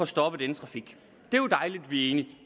stoppe denne trafik det er jo dejligt at vi